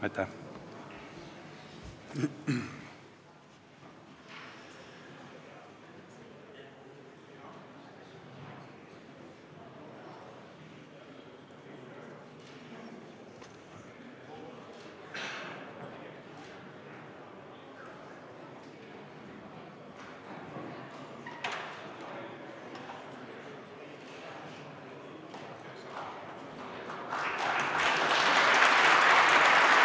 Aitäh!